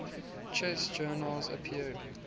chess journals appeared